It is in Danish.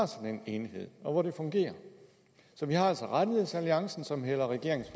sådan en enhed og det fungerer så vi har altså rettighedsalliancen som hælder regeringens